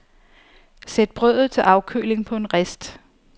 Sæt brødet til afkøling på en rist.